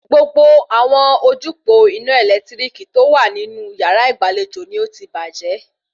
Gbogbo àwọn ojúpòó ina ẹ̀lẹ́tíríkì tó wà nínú yàrá ìgbàlejò ni ó ti bàjẹ́